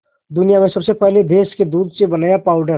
दुनिया में सबसे पहले भैंस के दूध से बनाया पावडर